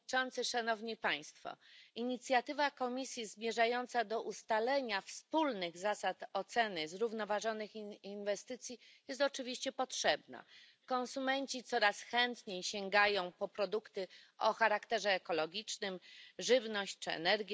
Panie Przewodniczący! Inicjatywa Komisji zmierzająca do ustalenia wspólnych zasad oceny zrównoważonych inwestycji jest oczywiście potrzebna. Konsumenci coraz chętniej sięgają po produkty o charakterze ekologicznym żywność czy energię.